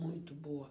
Muito boa.